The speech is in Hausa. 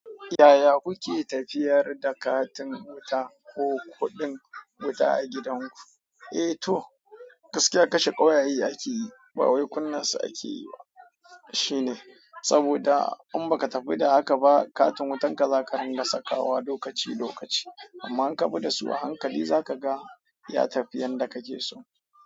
Yaya kuke tafiyar da katin wuta ko kuɗin wuta a gidanku? Eh, to gaskiya kashe ƙawaye ake yi, ba wai kunnasa ake yi ba. Saboda in baka tafi da haka ba, katin wutan ka zaka dinga saka wa lokaci lokaci. Amma in ka bi da su a hankali zaka ga ya tafi yanda ka ke so.